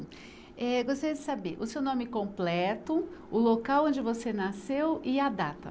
Eh, gostaria de saber o seu nome completo, o local onde você nasceu e a data.